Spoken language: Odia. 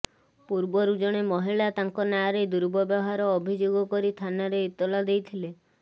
ପୂର୍ବରୁ ଜଣେ ମହିଳା ତାଙ୍କ ନାଁରେ ଦୁର୍ବ୍ୟବହାର ଅଭିଯୋଗ କରି ଥାନାରେ ଏତଲା ଦେଇଥିଲେ